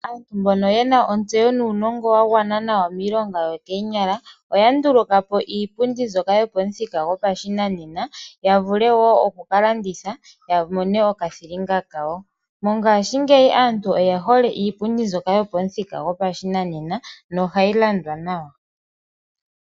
Aantu mbono yena otsewo nuunongo wa gwana nawa miilonga yokonyala oya ndulukapo iipundi lyoka yopamuthika gopashinanena, ya vule wo oku kalanditha yamone oka thilinga kayo. Mongashingeyi aantu oye hole iipundi mbyoka yopamuthika gopashinanena noha yi landwa nawa.